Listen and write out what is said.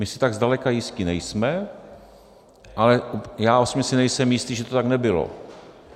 My si tak zdaleka jistí nejsme, ale já osobně si nejsem jistý, že to tak nebylo.